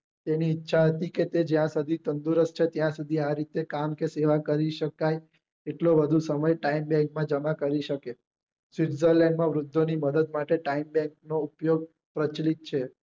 તેની ઇરછા હતી કે તે જ્યાં સુધી તંદુરસ્ત છે ત્યાં સુધી આ રીતે કામ કે સેવા કરી શકાય એટલો વધુ સમય time bank માં જમા કરી શકે switzerland માં વૃધ્ધો ની મદ્દદ માટે નો ઉપયોગ પ્રચલિત છે